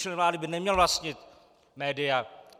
Člen vlády by neměl vlastnit média.